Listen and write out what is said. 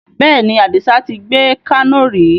Bẹ́ẹ̀ni, Adisa tí gbé Kano ri